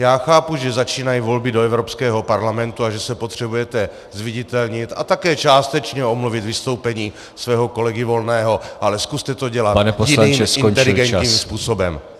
Já chápu, že začínají volby do Evropského parlamentu a že se potřebujete zviditelnit a také částečně omluvit vystoupení svého kolegy Volného, ale zkuste to dělat jiným , inteligentním způsobem.